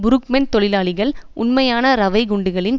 புருக்மன் தொழிலாளிகள் உண்மையான ரவைக் குண்டுகளின்